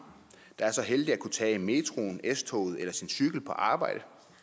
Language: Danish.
der er så heldig at kunne tage metroen s toget eller sin cykel på arbejde